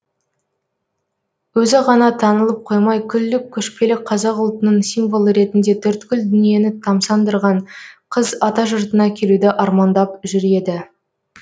өзі ғана танылып қоймай күллі көшпелі қазақ ұлтының символы ретінде төрткүл дүниені тамсандырған қыз атажұртына келуді армандап жүр еді